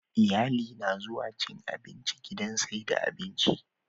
Iyali na zuwa cin abinci gidan saida abinci